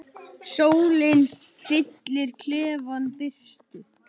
Sólin fyllir klefann birtu.